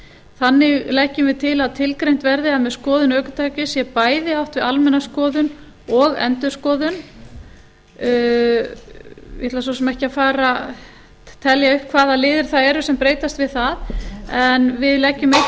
þannig leggjum við til að tilgreint verði að með skoðun ökutækis sé bæði átt við almenna skoðun og endurskoðun ég ætla svo sem ekki að telja upp hvaða liðir það eru sem breytast við það en við leggjum einnig til nokkrar